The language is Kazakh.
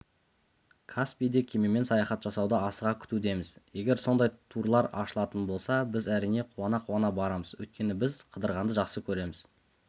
-каспийде кемемен саяхат жасауды асыға күтудеміз егер сондай турлар ашылатын болса біз әрине қуана-қуана барамыз өйткені біз қыдырғанды жақсы көреміз